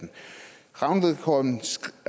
rangvidrapporten